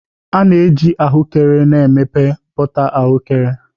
A na-eji ahụekere na-emepụta bọta ahụekere